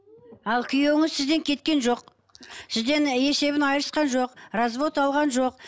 ал күйеуіңіз сізден кеткен жоқ сізден і есебін айырысқан жоқ развод алған жоқ